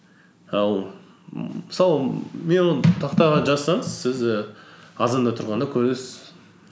ал мысалы мен оны тақтаға жазсаңыз сіз і азанда тұрғанда көресіз